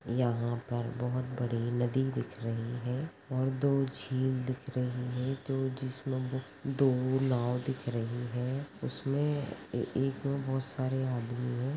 यहा पर बहोत बड़ी नदी दिख रही है और दो झील दिख रही है जो जिस में दो नाव दिख रही है उसमे एक बहोत सारे आदमी है।